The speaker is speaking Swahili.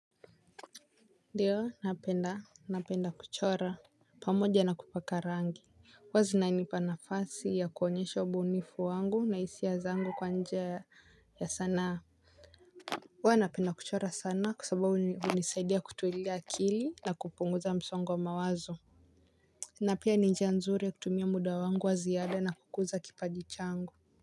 Ndiyo napenda napenda kuchora pamoja na kupaka rangi huwa zinanipa nafasi ya kuonyesha ubunifu wangu na hisia zangu kwa njia ya sanaa. Huwa napenda kuchora sana kwa sababu hunisaidia kutulia akili na kupunguza msongo wa mawazo napia ni njia nzuri ya kutumia muda wangu wa ziada na kukuza kipaji changu.